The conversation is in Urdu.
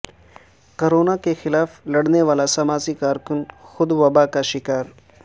کورونا کے خلاف لڑنے والا سماجی کارکن خود وبا کا شکار